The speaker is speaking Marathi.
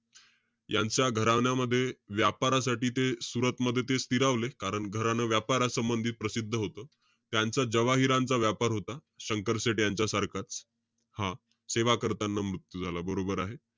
यांच्या घराण्यामध्ये, व्यापारासाठी ते सुरतमध्ये ते स्थिरावले. कारण घराणं व्यापारासंबंधित प्रसिद्ध होतं. त्यांचा जवाहिरांचा व्यापार होता. शंकर शेठ यांच्या सारखाच. हा. सेवा करताना मृत्यू झाला, बरोबर आहे.